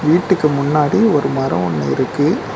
வீட்டுக்கு முன்னாடி ஒரு மரோ ஒன்னு இருக்கு.